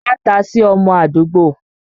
Ma ta sí ọmọ àdúgbò!